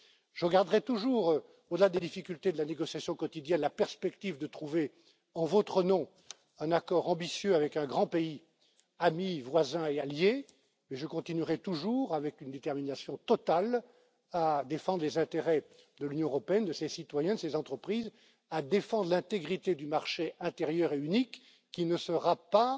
Je ne perdrai jamais de vue, au delà des difficultés de la négociation quotidienne, la nécessité de trouver, en votre nom, un accord ambitieux avec un grand pays ami, voisin et allié, et je continuerai toujours, avec une détermination totale, à défendre les intérêts de l'Union européenne, de ses citoyens, de ses entreprises, à défendre l'intégrité du marché intérieur et unique, qui ne